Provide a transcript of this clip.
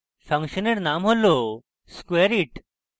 ফাংশনের name হল squareit